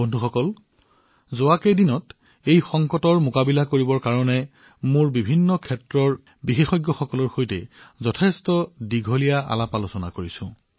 বন্ধুসকল শেহতীয়াকৈ এই সংকটৰ মোকাবিলা কৰিবলৈ মই বিভিন্ন খণ্ডৰ বিশেষজ্ঞসকলৰ সৈতে দীঘলীয়া আলোচনা কৰিছো